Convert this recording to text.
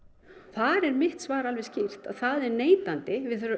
þar er mitt svar alveg skýrt að það er neitandi